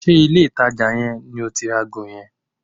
Ṣé ilé ìtajà yẹn ni o ti ra ago yẹn?